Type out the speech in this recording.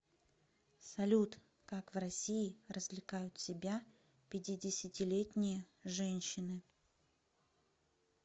салют как в россии развлекают себя пятидесятилетние женщины